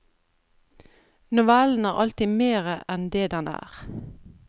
Novellen er alltid mere enn det den er.